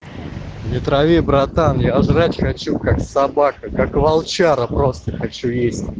не трави братан я жрать хочу как собака как волчара просто хочу есть